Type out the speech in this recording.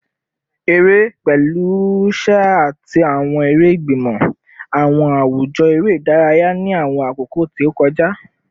Ere, pẹlu ṣẹ ati awọn ere igbimọ, awọn awujọ ere idaraya ni awọn akoko ti o kọja